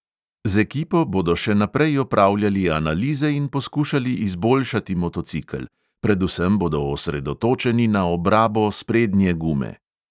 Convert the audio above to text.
Z ekipo bodo še naprej opravljali analize in poskušali izboljšati motocikel, predvsem bodo osredotočeni na obrabo sprednje gume.